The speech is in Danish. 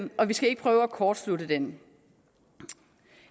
og vi skal ikke prøve at kortslutte den